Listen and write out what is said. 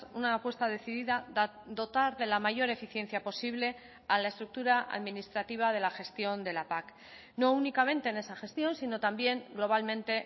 una apuesta decidida dotar de la mayor eficiencia posible a la estructura administrativa de la gestión de la pac no únicamente en esa gestión sino también globalmente